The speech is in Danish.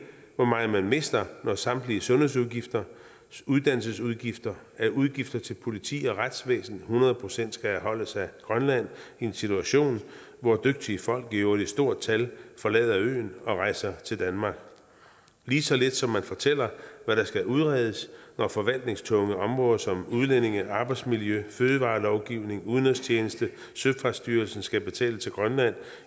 hvor meget man mister når samtlige sundhedsudgifter uddannelsesudgifter udgifter til politi og retsvæsen hundrede procent skal afholdes af grønland i en situation hvor dygtige folk i øvrigt i stort tal forlader øen og rejser til danmark lige så lidt som de fortæller hvad der skal udredes når forvaltningstunge områder som udlændinge arbejdsmiljø fødevarelovgivning udenrigstjeneste og søfartsstyrelsen skal betales af grønland